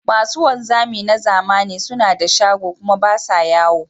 Masu wanzami na zamani suna da shago kuma ba sa yawo.